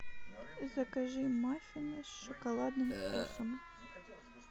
закажи маффины с шоколадным вкусом